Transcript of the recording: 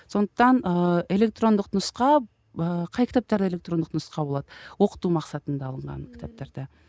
сондықтан ыыы электрондық нұсқа қай кітаптарда электрондық нұсқа болады оқыту мақсатында алынған кітаптарда